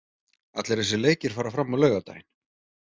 Allir þessir leikir fara fram á laugardaginn.